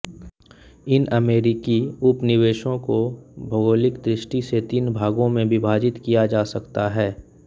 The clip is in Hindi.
इन अमेरिकी उपनिवेशों को भौगोलिक दृष्टि से तीन भागों में विभाजित किया जा सकता है